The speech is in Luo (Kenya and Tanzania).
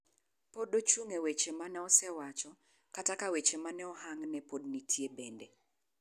Pod ochung e wach maneosewacho kata ka weche mane ohang'ne podi nitie bende.